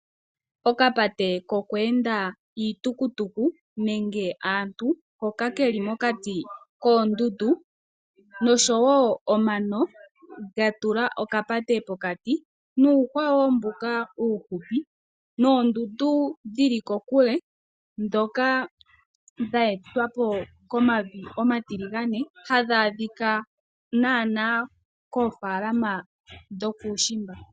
Okapate kokweenda iitukutuku nenge aantu hoka keli mokati koondundu, nosho wo omano gatula okapate pokati nuuhwa wo mbuka uufupi noondundu dhili kokule, ndhoka dha etwapo komavi omatiligane hadhi adhika naanaa koofaalama dhokuushimba.